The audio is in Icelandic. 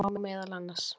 Þetta má meðal annars.